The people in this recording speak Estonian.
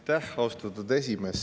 Aitäh, austatud esimees!